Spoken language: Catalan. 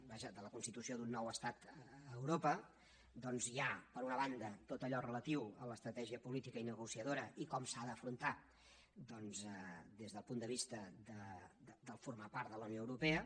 vaja de la constitució d’un nou estat a europa doncs hi ha per una banda tot allò relatiu a l’estratègia política i negociadora i com s’ha d’afrontar des del punt de vista de formar part de la unió europea